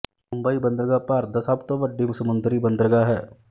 ਮੁੰਬਈ ਬੰਦਰਗਾਹ ਭਾਰਤ ਦਾ ਸਭ ਤੋਂ ਵੱਡੀ ਸਮੁੰਦਰੀ ਬੰਦਰਗਾਹ ਹੈ